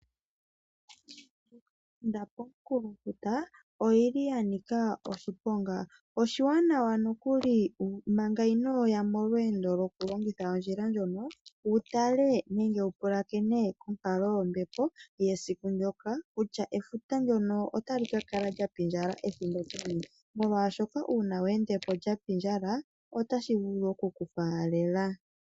Ondjila ili komunkulofuta oyili yanika oshiponga, oshiwanawa nokuli manga inoya molweendo lwokulongitha ondjila ndjono wutlae nenge wapulakene onkalo yombepo yesiku ndoka kutya efuta ndono otali kakala lya pindjala ethimbo peni molwaashoka uuna we endepo lyapindjala otali vulu okuku faalela